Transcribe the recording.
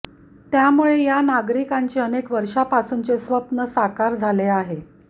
त्यामुळे या नागरिकांचे अनेक वर्षांपासूनचे स्वप्न साकार झाले आहे